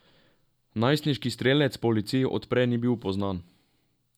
Najstniški strelec policiji od prej ni bil poznan.